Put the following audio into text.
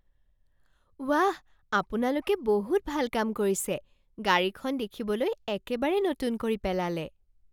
ৱাহ! আপোনালোকে বহুত ভাল কাম কৰিছে। গাড়ীখন দেখিবলৈ একেবাৰে নতুন কৰি পেলালে!